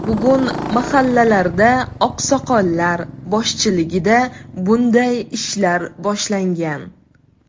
Bugun mahallalarda oqsoqollar boshchiligida bunday ishlar boshlangan.